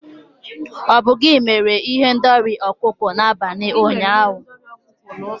Ọ bụ gị mere ihendori ọkụkọ n'abalị ụnyaahụ?